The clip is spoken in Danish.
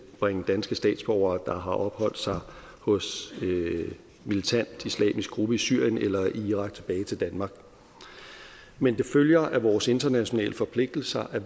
bringe danske statsborgere der har opholdt sig hos en militant islamisk gruppe i syrien eller irak tilbage til danmark men det følger af vores internationale forpligtelser at